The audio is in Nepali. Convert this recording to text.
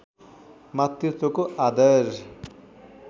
मातृत्वको आदर